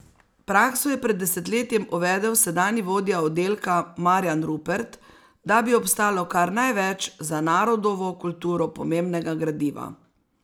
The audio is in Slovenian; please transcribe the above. Prakso je pred desetletjem uvedel sedanji vodja oddelka Marijan Rupert, da bi obstalo kar največ za narodovo kulturo pomembnega gradiva.